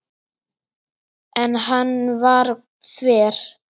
En hann var þver.